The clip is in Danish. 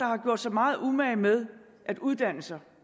har gjort sig meget umage med at uddanne sig